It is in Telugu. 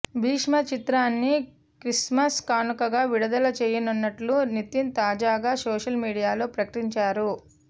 భీష్మ చిత్రాన్ని క్రిస్టమస్ కానుకగా విడుదల చేయనున్నట్లు నితిన్ తాజాగా సోషల్ మీడియాలో ప్రకటించారు